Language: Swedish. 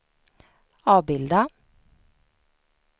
avbilda